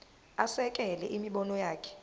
asekele imibono yakhe